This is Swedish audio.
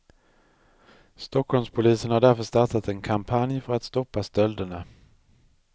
Stockholmspolisen har därför startat en kampanj för att stoppa stölderna.